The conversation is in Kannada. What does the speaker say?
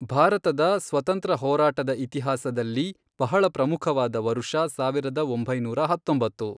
ಭಾರತದ ಸ್ವತ಼ಂತ್ರ ಹೋರಾಟದ ಇತಿಹಾಸದಲ್ಲಿ ಬಹಳ ಪ್ರಮುಖ ವಾದ ವರುಷ, ಸಾವಿರದ ಒಂಬೈನೂರ ಹತ್ತೊಂಬತ್ತು.